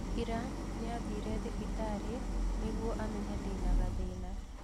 Ira, nĩathire thibitarĩ nĩguo amenye ndena gathĩna.